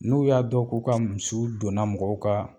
N'u y'a dɔn k'u ka musuw donna mɔgɔw ka